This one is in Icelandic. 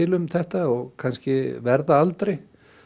um þetta og kannski verða aldrei